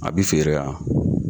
A bɛ feere ha?